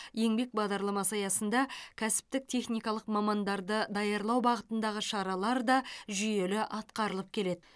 еңбек бағдарламасы аясында кәсіптік техникалық мамандарды даярлау бағытындағы шаралар да жүйелі атқарылып келеді